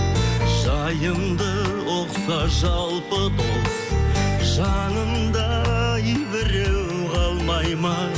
жайымды ұқса жалпы дос жанымда ай біреу қалмайды ма